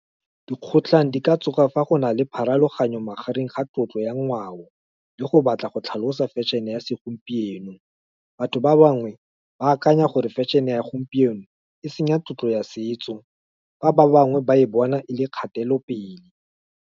Dikgotlhang di ka tsoga fa go nale pharologanyo magareng ga tlotlo, ya ngwao, le go batla go tlhalosa fashion-e ya segompieno, batho ba bangwe, ba akanya gore fashion-e ya gompieno e senya tlotlo ya setso, fa ba bangwe ba e bona e le kgatelopele.